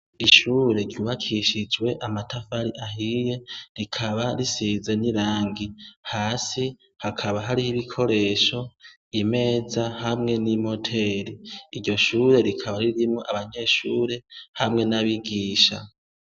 Ishure ryubakishijwe amatafari ahiye, rikaba risize n'irangi. Hasi hakaba hariho ibikoresho imeza hamwe n'imoteri. Iryo shure rikaba ririmo abanyeshure hamwe n'abigisha.